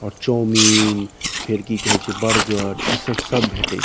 और चाऊमीन फेर की कहे छै बर्गर इ सब सब भेटय --